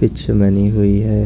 Pitch बनी हुई है।